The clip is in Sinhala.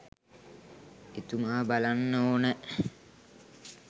එතුමා බලන්න ඕනැ.